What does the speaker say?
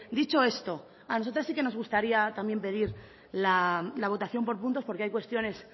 dicho esto a nosotras sí que nos gustaría también pedir la votación por puntos porque hay cuestiones